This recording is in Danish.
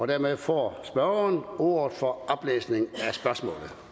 dermed får spørgeren ordet for oplæsning